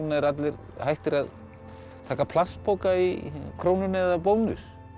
eru allir hættir að taka plastpoka í Krónunni eða Bónus